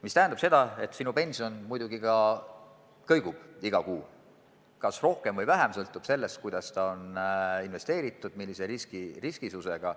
See tähendab muidugi seda, et sinu pension kõigub iga kuu, kas rohkem või vähem, sõltuvalt sellest, kuidas see on investeeritud, millise riskisusega.